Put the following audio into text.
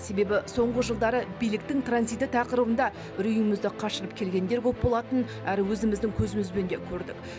себебі соңғы жылдары биліктің транзиті тақырыбында үрейімізді қашырып келгендер көп болатын әрі өзіміздің көзімізбен де көрдік